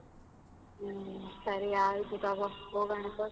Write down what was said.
ಹ್ಮ್ ಸರಿ ಆಯ್ತು ತಗೋ ಹೋಗಣ.